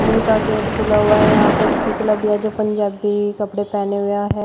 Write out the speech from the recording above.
School का gate खुला हुआ है यहां पे पुतला भी है जो पंजाबी कपड़े पहने हुए है।